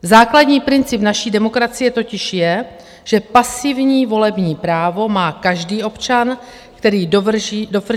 Základní princip naší demokracie totiž je, že pasivní volební právo má každý občan, který dovrší 21 let věku.